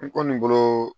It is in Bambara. N kɔni bolo